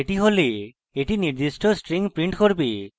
এটি হলে এটি নির্দিষ্ট string print করবে